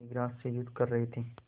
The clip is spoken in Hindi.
एक ग्रास से युद्ध कर रहे थे